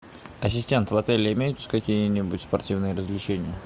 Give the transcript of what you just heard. ассистент в отеле имеются какие нибудь спортивные развлечения